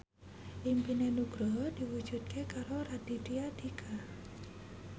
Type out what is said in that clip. impine Nugroho diwujudke karo Raditya Dika